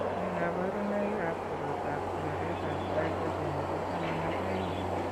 Nee kabarunoikab koroitoab konoretab Glycogen nebo taman ak aeng'?